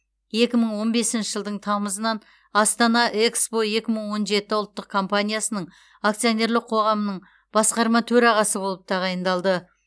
екі мың он бесінші жылдың тамызынан астана экспо екі мың он жеті ұлттық компаниясының акционерлік қоғамының басқарма төрағасы болып тағайындалды